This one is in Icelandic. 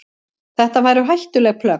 Þetta væru hættuleg plögg.